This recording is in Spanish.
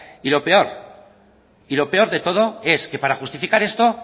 y lo peor y lo peor de todo es que para justificar esto